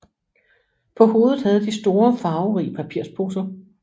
På hovedet havde de store farverige papirposer